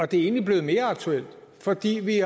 det er egentlig blevet mere aktuelt fordi vi